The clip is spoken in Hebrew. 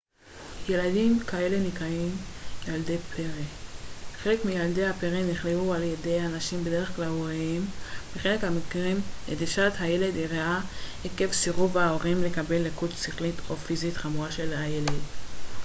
"ילדים כאלו נקראים "ילדי פרא"". חלק מילדי הפרא נכלאו על-ידי אנשים בדרך כלל הוריהם; בחלק מהמקרים נטישת הילד אירעה עקב סירוב ההורים לקבל לקות שכלית או פיזית חמורה של הילד.